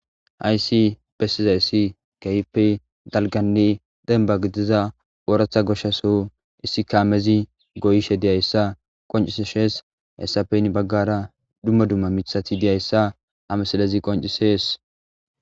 Haysi pessizayissi kaype dalganne denba gidiza ooratha goshshaso issi kaamezi goyishe diyayssa qonciseshees hessapeyn baggara dumma dumma mithati diyayssa amasalezi qoncisees.